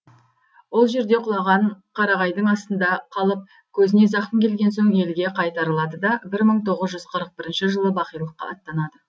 ол жерде құлаған қарағайдың астында қалып көзіне зақым келген соң елге қайтарылады да бір мың тоғыз жүз қырық бірінші жылы бақилыққа аттанады